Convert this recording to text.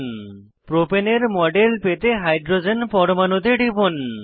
প্রপাণে propane এর model পেতে hydrogen পরমাণুতে টিপুন